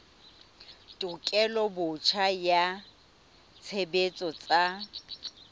tekolo botjha ya tshebetso tsa